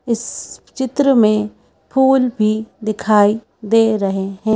इस चित्र में फूल भी दिखाई दे रहे हैं।